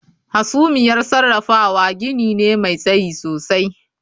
Hasumiyar sarrafawa gini ne mai tsayi sosai